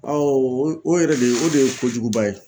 Awo o yɛrɛ de o de ye kojuguba ye